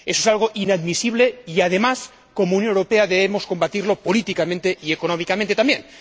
Eso es algo inadmisible y, además, como Unión Europea, debemos combatirlo políticamente, y económicamente también.